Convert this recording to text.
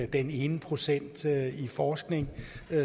den ene procent i forskning